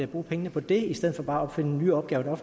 bruge pengene på det i stedet for bare at opfinde nye opgaver